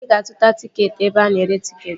Anyị ga-azuta tịketị ebe ana ere tịketị